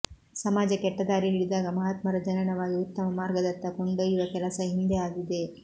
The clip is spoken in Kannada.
ಸಮಾಜ ಕೆಟ್ಟ ದಾರಿ ಹಿಡಿದಾಗ ಮಹಾತ್ಮರ ಜನನವಾಗಿ ಉತ್ತಮ ಮಾರ್ಗದತ್ತ ಕೊಂಡೊಯ್ಯುವ ಕೆಲಸ ಹಿಂದೆ ಆಗಿದೆ